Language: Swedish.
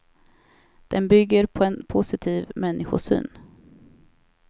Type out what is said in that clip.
Den bygger på en positiv människosyn.